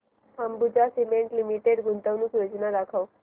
Ambuja cement limited गुंतवणूक योजना दाखव